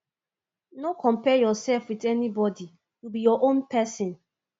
no compare yourself wit anybodi you be your own pesin